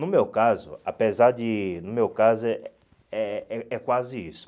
No meu caso, apesar de... No meu caso, é é é quase isso.